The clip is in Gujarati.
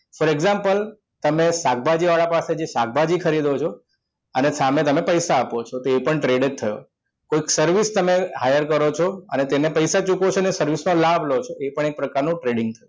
for example તમે શાકભાજીવાળા પાસેથી શાકભાજી ખરીદો છો અને સામે તમે પૈસા આપો છો એ પણ trade જ થયો કોઈ service તમે hire કરો છો તેને પૈસા ચૂકવો છો અને service નો લાભ લો છો એક એ પણ એ પ્રકારનું trading થયું